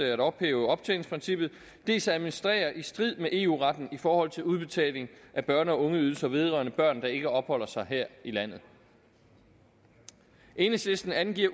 at ophæve optjeningsprincippet dels at administrere i strid med eu retten i forhold til udbetaling af børne og ungeydelser vedrørende børn der ikke opholder sig her i landet enhedslisten angiver